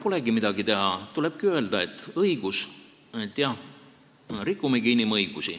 Ega polegi midagi teha, tulebki öelda, et õige, jah, rikumegi inimõigusi.